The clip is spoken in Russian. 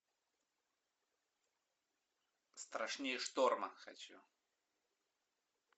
страшнее шторма хочу